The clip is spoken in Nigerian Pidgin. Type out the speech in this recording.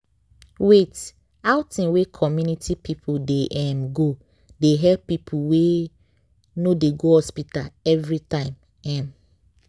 wait- outing wey community people dey um go they help people wey no dey go hospital everytime. um